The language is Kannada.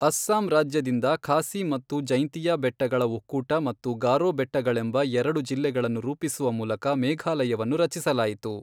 ಅಸ್ಸಾಂ ರಾಜ್ಯದಿಂದ ಖಾಸಿ ಮತ್ತು ಜೈಂತಿಯಾ ಬೆಟ್ಟಗಳ ಒಕ್ಕೂಟ ಮತ್ತು ಗಾರೋ ಬೆಟ್ಟಗಳೆಂಬ ಎರಡು ಜಿಲ್ಲೆಗಳನ್ನು ರೂಪಿಸುವ ಮೂಲಕ ಮೇಘಾಲಯವನ್ನು ರಚಿಸಲಾಯಿತು.